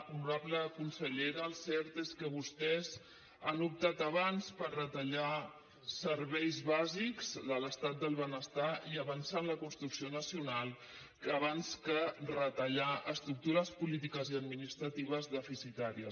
honorable consellera el cert és que vostès han optat abans per retallar serveis bàsics de l’estat del benestar i avançar en la construcció nacional abans que retallar estructures polítiques i administratives deficitàries